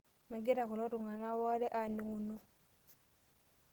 Megira kulo tung'anak waare aaning'uno.